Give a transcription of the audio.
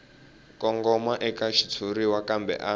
kongoma eka xitshuriwa kambe a